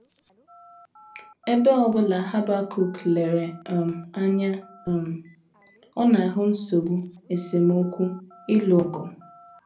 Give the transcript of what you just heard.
Ebe ọ bụla Habakuk lere um anya um, ọ na - ahụ nsogbu, esemokwu, ịlụ ọgụ.